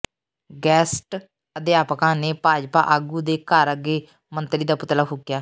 guest ਅਧਿਆਪਕਾਂ ਨੇ ਭਾਜਪਾ ਆਗੂ ਦੇ ਘਰ ਅੱਗੇ ਮੰਤਰੀ ਦਾ ਪੁਤਲਾ ਫੂਕਿਆ